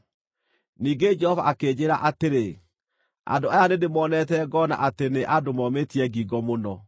Ningĩ Jehova akĩnjĩĩra atĩrĩ, “Andũ aya nĩndĩmoonete, ngoona atĩ nĩ andũ momĩtie ngingo mũno!